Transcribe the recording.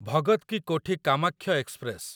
Bhagat ki Kothi Kamakhya express